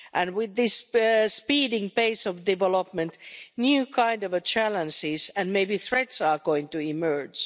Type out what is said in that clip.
With this speeding pace of development, new kind of challenges and maybe threats are going to emerge.